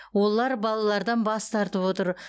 олар балалардан бас тартып отыр